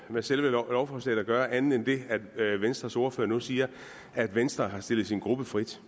med selve lovforslaget at gøre andet end det at venstres ordfører nu siger at venstre har stillet sin gruppe frit